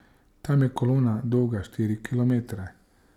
Tam je kolona dolga štiri kilometre.